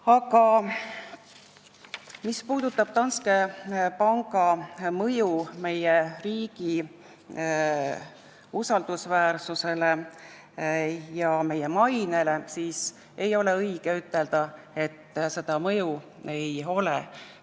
Aga mis puudutab Danske panga mõju meie riigi usaldusväärsusele ja mainele, siis ei ole õige ütelda, et seda mõju ei ole.